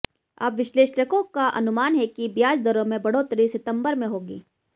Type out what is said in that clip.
अब विश्लेषकों का अनुमान है कि ब्याज दरों में बढ़ोतरी सितंबर में होगी